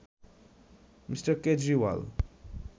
Me. Kejriwal